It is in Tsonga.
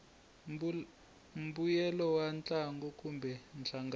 mbuyelo wa ntlangu kumbe nhlangano